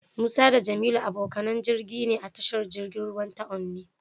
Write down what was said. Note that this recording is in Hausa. Musa da Jamilu abokanan jirgi ne a tashar jirgin ruwa ta Onne.